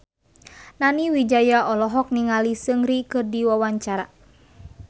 Nani Wijaya olohok ningali Seungri keur diwawancara